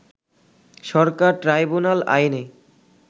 সরকার tribunal আইনে